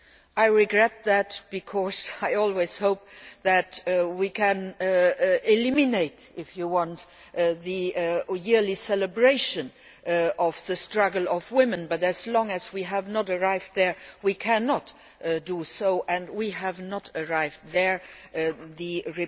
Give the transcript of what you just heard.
I regret that because I always hope that we can eliminate, if you like, the yearly celebration of the struggle of women, but as long as we have not arrived there, we cannot do so, and we have not arrived there yet.